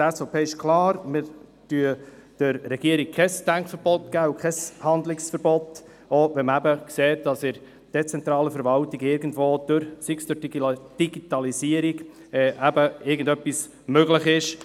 Wir erteilen der Regierung kein Denk- und kein Handlungsverbot, zum Beispiel wenn man sieht, dass in der dezentralen Verwaltung aufgrund der Digitalisierung etwas möglich ist.